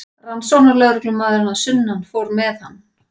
Rannsóknarlögreglumaðurinn að sunnan fór með hann.